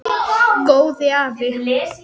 Góði afi.